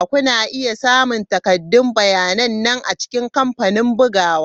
Kuna iya samun takaddun bayyananne a cikin kamfanin bugawa.